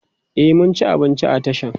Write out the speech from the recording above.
e mun ci abinci a tashan